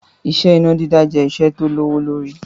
Iṣẹ́ iná dídá jẹ́ iṣẹ́ tí ó lówó lórí